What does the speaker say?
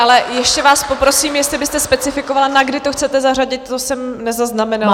Ale ještě vás poprosím, jestli byste specifikovala, na kdy to chcete zařadit, to jsem nezaznamenala.